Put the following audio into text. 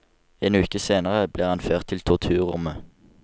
En uke senere ble han ført til torturrommet.